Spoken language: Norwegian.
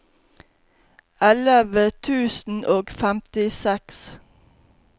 elleve tusen og femtiseks